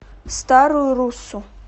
старую руссу